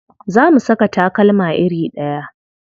Za mu saka takalma iri ɗaya.